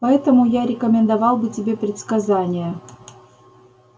поэтому я рекомендовал бы тебе предсказания